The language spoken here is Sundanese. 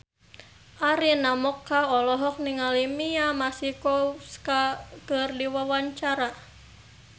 Arina Mocca olohok ningali Mia Masikowska keur diwawancara